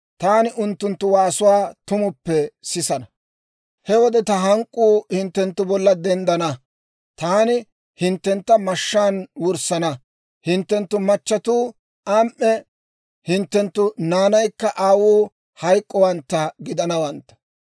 taani unttunttu waasuwaa tumuppe sisana; he wode ta hank'k'uu hinttenttu bolla denddana; taani hinttentta mashshaan wurssana; hinttenttu machatuu am"e hinttenttu naanaykka aawuu hayk'k'owantta gidanawantta.